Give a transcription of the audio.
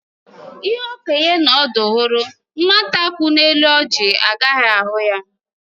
Ihe okenye n'ọdụ hụrụ, nwate ku n'elu ọjị agaghị ahụ ya.